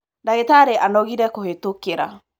ndagītarī anogire kūhītokīra.